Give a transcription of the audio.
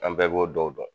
An bɛɛ b'o dɔw dɔn